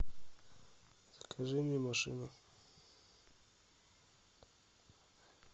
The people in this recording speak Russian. закажи мне машину